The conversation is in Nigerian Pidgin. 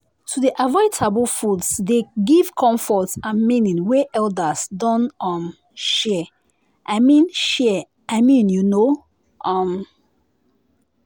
to dey avoid taboo foods dey give comfort and meaning wey elders don um share i mean share i mean you know. um